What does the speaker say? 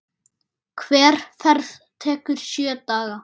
Hver ferð tekur sjö daga.